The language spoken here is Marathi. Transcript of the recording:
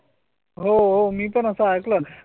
हो मीपण असा ऐकलं